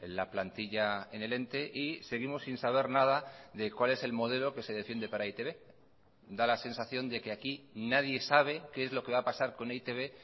la plantilla en el ente y seguimos sin saber nada de cuál es el modelo que se defiende para e i te be da la sensación de que aquí nadie sabe qué es lo que va a pasar con e i te be